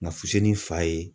Nka fusinin fa ye.